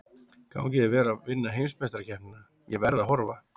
Gangi þér vel að vinna heimsmeistarakeppnina, ég verð að horfa.